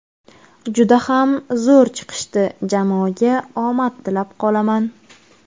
Juda ham zo‘r chiqishdi, jamoaga omad tilab qolaman.